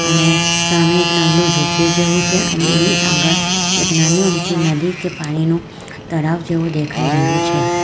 અને સામે એક નાનુ ઝૂંપડી જેવું છે અને એની આગળ એક નાની અમથી નદી કે પાણીનું તળાવ જેવું દેખાઈ રહ્યું છે.